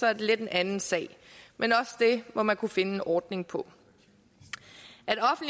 er det lidt en anden sag men også det må man kunne finde en ordning på